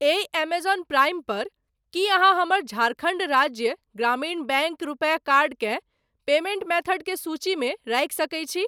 एहि Amazon Prime पर की अहाँ हमर झारखण्ड राज्य ग्रामीण बैंक रुपे कार्ड केँ पेमेंट मेथड के सूचीमे राखि सकैत छी?